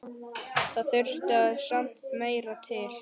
Það þurfti samt meira til.